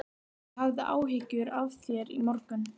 Annars var ég hæstánægð með skólann, vinkonur mínar og kennarana.